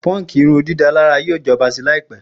Punk irundidalara yoo jọba lẹẹkansi laipe.